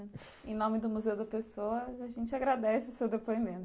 Em nome do Museu da Pessoa, a gente agradece o seu depoimento.